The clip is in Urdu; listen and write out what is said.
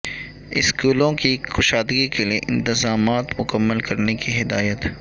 اسکولوں کی کشادگی کیلئے انتظامات مکمل کرنے کی ہدایت